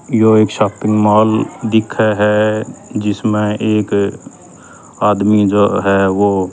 यो एक shopping mall दिखह ह जिसमें एक आदमी जो ह वो--